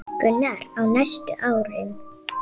Gunnar: Á næstu árum?